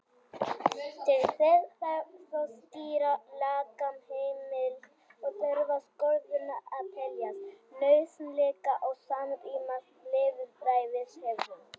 Til þess þarf þó skýra lagaheimild og þurfa skorðurnar að teljast nauðsynlegar og samrýmast lýðræðishefðum.